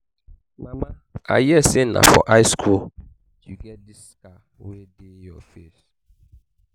mama i hear say na for high school you get dis scar wey dey your face